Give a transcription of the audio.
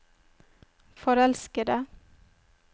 forelskede